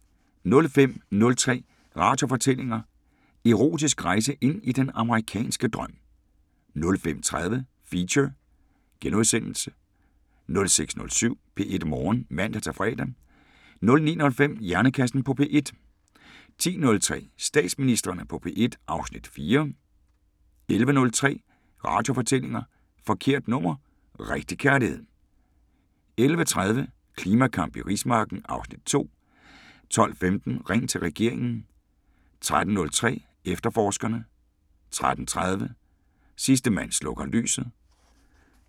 05:03: Radiofortællinger: Erotisk rejse ind i den amerikanske drøm 05:30: Feature * 06:07: P1 Morgen (man-fre) 09:05: Hjernekassen på P1 10:03: Statsministrene på P1 (Afs. 4) 11:03: Radiofortællinger: Forkert nummer – rigtig kærlighed 11:30: Klimakamp i rismarken (Afs. 2) 12:15: Ring til regeringen 13:03: Efterforskerne 13:30: Sidste mand slukker lyset